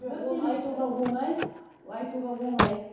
айтуға оңай аха айтуға оңай